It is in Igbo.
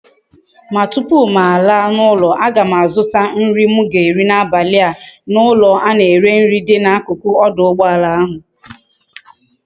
Ma tupu m ala na ulo a gam azuta nri m ga eri na abali a na ulo a na ere nri di na akuku oduugboala ahu